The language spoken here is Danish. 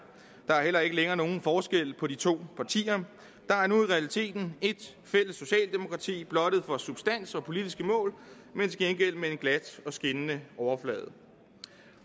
der er heller ikke længere nogen forskel på de to partier der er nu i realiteten et fælles socialdemokrati blottet for substans og politiske mål men til gengæld med en glat og skinnende overflade